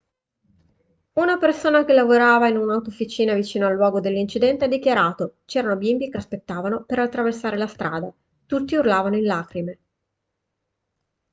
una persona che lavorava in un'autofficina vicino al luogo dell'incidente ha dichiarato c'erano bimbi che aspettavano per attraversare la strada tutti urlavano in lacrime